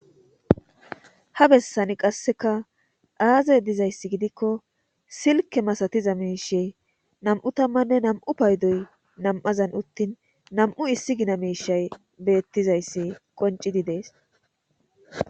ha bessani qasseka aaze dizayssi giikko silke masatiza miishey nam7u tammanne nam7u paydoy nam7azan uttin nam7u issi gina miishay beettizayssi qonci di dees